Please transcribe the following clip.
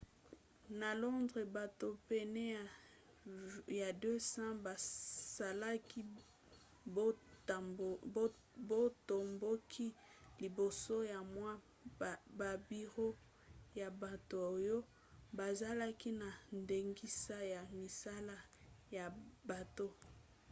na londres bato pene ya 200 basalaki botomboki liboso ya mwa babiro ya bato oyo bazalaki na ndingisa ya misala ya bato